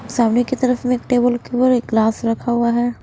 सामने की तरफ में एक टेबल के वर एक ग्लास रखा हुआ हैं।